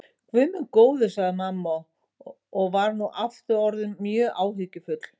Guð minn góður, sagði mamma og var nú aftur orðin mjög áhyggjufull.